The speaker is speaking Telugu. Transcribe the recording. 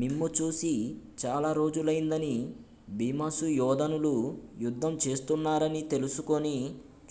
మిమ్ము చూసి చాలా రోజులైందనీ భీమసుయోధనులు యుద్ధం చేస్తున్నారని తెలుసుకుని